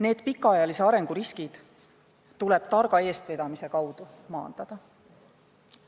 Need pikaajalise arengu riskid tuleb targa eestvedamise kaudu maandada.